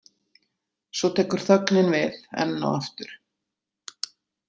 Svo tekur þögnin við, enn og aftur.